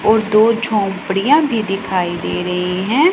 और दो झोपड़ियां भी दिखाई दे रही हैं।